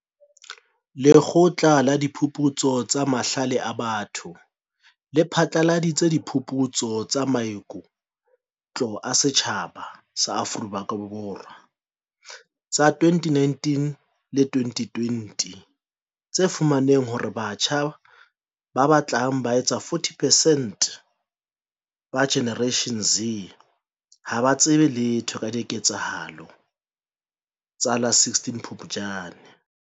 Lekgotla la Diphuputso tsa Mahlale a Batho le phatlaladitse Diphuputso tsa Maiku tlo a Setjhaba Afrika Borwa tsa 2019 le 2020 tse fumaneng hore batjha ba batlang ba etsa 40 percent ba Generation Z ha ba tsebe letho ka diketsahalo tsa la 16 Phupjane.